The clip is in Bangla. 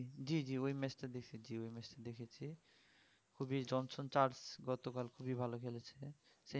জি জি ওই match টা দেখেছি ওই match টা দেখেছি জনসন চার্চ গত কাল খুবই ভালো খেলেছে century করেছে এবং